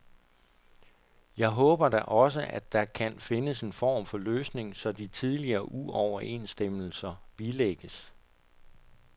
Jeg håber da også, der kan findes en form for løsning, så de tidligere uoverensstemmelser bilægges.